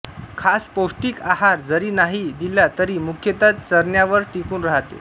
खास पौष्टिक आहार जरी नाही दिला तरी मुख्यतः चरण्यावर टिकून राहते